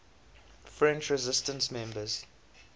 french resistance members